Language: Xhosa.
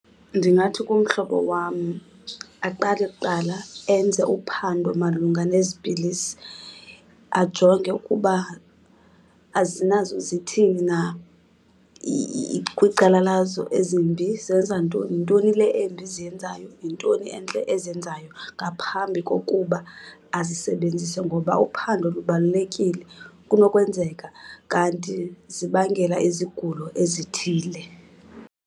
Ndingathi kumhlobo wam aqale kuqala enze uphando malunga nezi pilisi. Ajonge ukuba azinazo, zithini na kwicala lazo ezimbi zenza ntoni. Yintoni le embi ziyenzayo? Yintoni entle eziyenzayo? Ngaphambi kokuba azisebenzise ngoba uphando lubalulekile. Kunokwenzeka kanti zibangela izigulo ezithile.